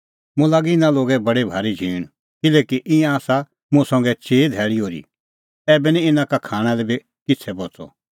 मुंह लागी इना लोगे बडी भारी झींण किल्हैकि ईंयां आसा मुंह संघै चिई धैल़ी ओर्ही ऐबै निं इना का खाणां लै बी किछ़ै बच़अ